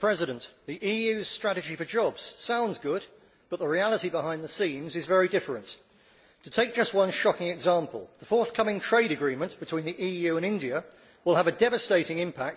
President, the EU's strategy for jobs sounds good, but the reality behind the scenes is very different. To take just one shocking example, the forthcoming trade agreement between the EU and India will have a devastating impact on Indian agriculture and pharmaceuticals.